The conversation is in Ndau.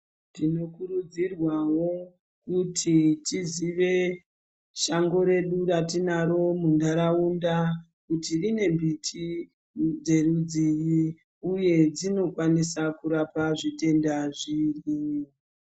Tinokurudzirwawo kuti tiziye shango redu ratinaro muntauraunda kuti rine miti dzerudzinyi uye dzinokwanisa kurapa zvitenda zvipi.